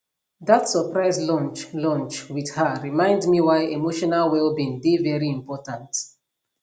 dat surprise lunch lunch with her remind me why emotional wellbeing dey very important